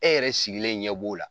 E yɛrɛ sigilen ɲɛ b'o la